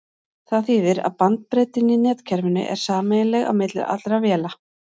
það þýðir að bandbreiddin í netkerfinu er sameiginleg á milli allra véla